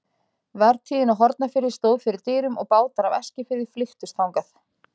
Vertíðin á Hornafirði stóð fyrir dyrum og bátar af Eskifirði flykktust þangað.